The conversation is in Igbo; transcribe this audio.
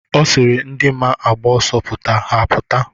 Ọ sịrị ndi maa agba ọsọ pụta, ha apụta.